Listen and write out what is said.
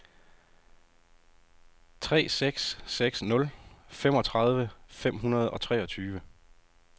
tre seks seks nul femogtredive fem hundrede og treogtyve